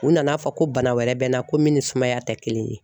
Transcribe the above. U nana fɔ ko bana wɛrɛ bɛ n na ko min ni sumaya tɛ kelen ye